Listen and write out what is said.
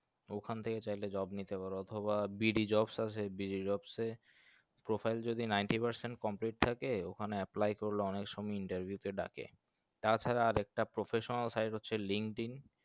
ওখান থেকে চাইলে job নিতে পারো অথবা BDjobs আসে BDjobs সে profile যদি ninety percent complete থাকে ওখানে apply করলে অনেক সোম interview তে ডাকে তাছাড়া আর একটা Professional side হচ্ছে linkedin